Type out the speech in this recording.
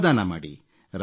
ಶ್ರಮದಾನ ಮಾಡಿ